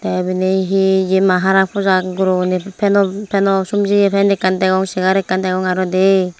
te ebeni he yema harakpajak gurogune feno fenosumjiye fan ekkan degong chair ekkan degong aro de.